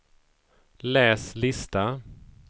läs lista